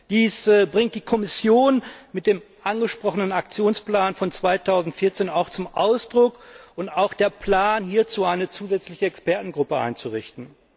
Dies bringt die Kommission mit dem angesprochenen Aktionsplan von 2014 auch zum Ausdruck, auch mit dem Plan, hierzu eine zusätzliche Expertengruppe einzurichten.